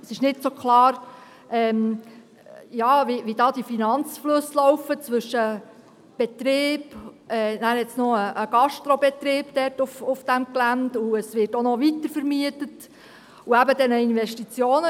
Es ist nicht so klar, wie die Finanzflüsse und Investitionen laufen betreffend den Betrieb, mit einem Gastrobetrieb auf dem Gelände, und der Weitervermietung.